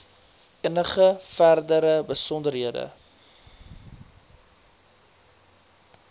enige verdere besonderhede